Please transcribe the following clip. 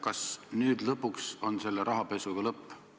Kas nüüd lõpuks on selle rahapesuga lõpp?